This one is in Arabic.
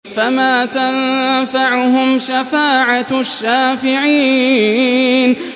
فَمَا تَنفَعُهُمْ شَفَاعَةُ الشَّافِعِينَ